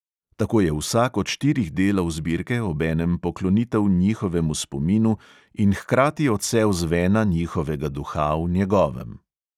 Tako je vsak od štirih delov zbirke obenem poklonitev njihovemu spominu in hkrati odsev zvena njihovega duha v njegovem.